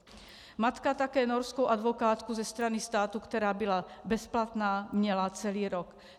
Matka také norskou advokátku ze strany státu, která byla bezplatná, měla celý rok.